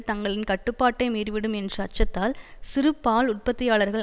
தங்களின் கட்டுப்பாட்டை மீறிவிடும் என்ற அச்சத்தால் சிறு பால் உற்பத்தியாளர்கள்